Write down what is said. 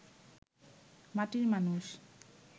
মাটির মানুষ